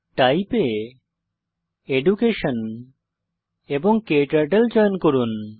type এ education এবং ক্টার্টল চয়ন করুন